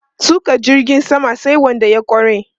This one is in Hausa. Tuƙa jirgin sama sai wanda ya ƙware.